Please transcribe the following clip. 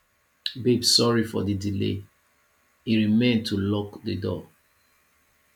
babe sorry for the delay e remain to lock the door